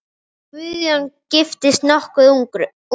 Guðjón giftist nokkuð ungur.